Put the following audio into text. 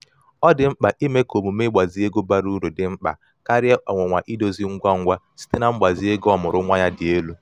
ọ dị mkpa ime ka omume ịgbazi ego bara uru dị mkpa karịa ọnwụnwa idozi ngwa ngwa site na mgbazi ego ọmụụrụ nwa ya dị elu.